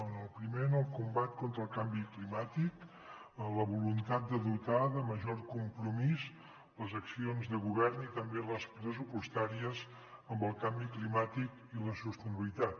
en el primer en el com·bat contra el canvi climàtic la voluntat de dotar de major compromís les accions de govern i també les pressupostàries amb el canvi climàtic i la sostenibilitat